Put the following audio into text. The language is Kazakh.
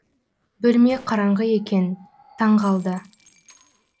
бөлме қараңғы екен таң қалды